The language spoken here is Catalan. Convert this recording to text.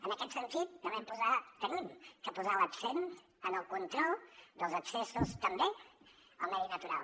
en aquest sentit hem de posar l’accent en el control dels accessos també al medi natural